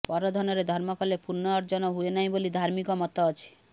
ପରଧନରେ ଧର୍ମ କଲେ ପୁଣ୍ୟ ଅର୍ଜନ ହୁଏ ନାହିଁ ବୋଲି ଧାର୍ମିକ ମତ ଅଛି